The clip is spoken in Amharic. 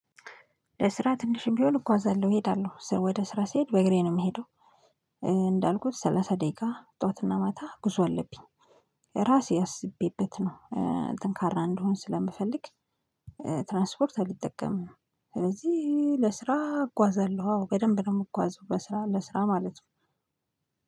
ለስራ ትንሽም ቢሆን እጓዛለሁ እሄዳለሁ ወደ ስራ ስሄድ በእግሬ ነው የምሄደው። እንዳልኩት ሰላሳ ደቂቃ ጠዋትና ማታ ጉዞ አለብኝ። ራሴ አስቤበት ነው። ጠንካራ እንደሆን ስለምፈልግ ትራንስፖርት አልጠቀምም። ስለዚህ ለስራ እጓዛለሁ አዎ በደንብ ነው የምጓዘው ለስራ ለስራ ማለት ነው